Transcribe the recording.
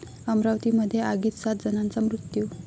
अमरावतीमध्ये आगीत सात जणांचा मृत्यू